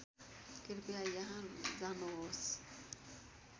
कृपया यहाँ जानुहोस्